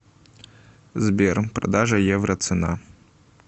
сбер продажа евро цена